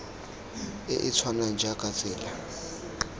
e e tshwanang jaaka tsela